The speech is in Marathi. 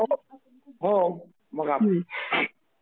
हो मग...